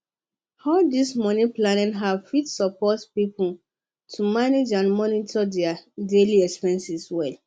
um all these moneyplanning apps fit support people to manage and monitor their daily expenses well